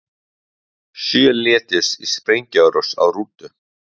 Sjö létust í sprengjuárás á rútu